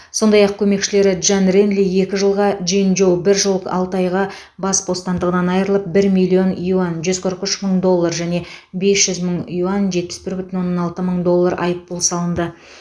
сондай ақ көмекшілері джан ренли екі жылға джин жоу бір жыл алты айға бас бостандығынан айырылып бір миллион юань жүз қырық үш мың доллар және бес жүз мың юаньжетпіс бір бүтін оннан алты мың доллар айыппұл салынды